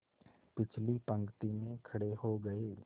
पिछली पंक्ति में खड़े हो गए